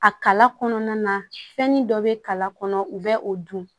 A kala kɔnɔna na fɛnni dɔ bɛ kala kɔnɔ u bɛ o dun